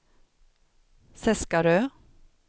Seskarö